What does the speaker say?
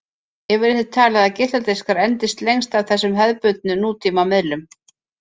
Yfirleitt er talið að geisladiskar endist lengst af þessum hefðbundnu nútíma miðlum.